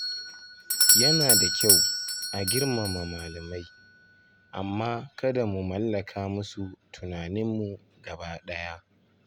Yana da kyau a girmama malamai, amma kada mu mallaka musu tunaninmu gaba ɗaya.